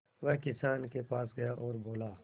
वह किसान के पास गया और बोला